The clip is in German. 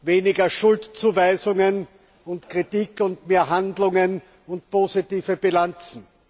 Weniger Schuldzuweisungen und Kritik und mehr Handlungen und positive Bilanzen.